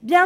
Bien